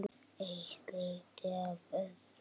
Eitt leiddi af öðru.